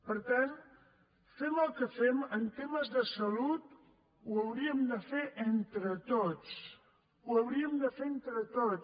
per tant fem el que fem en temes de salut ho hauríem de fer entre tots ho hauríem de fer entre tots